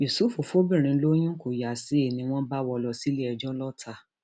yusuf fọbìnrin lóyún kó yá sí i ni wọn bá wọ ọ lọ síléẹjọ lọta